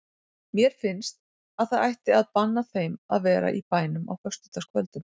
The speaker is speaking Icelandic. Mér finnst að það ætti að banna þeim að vera í bænum á föstudagskvöldum.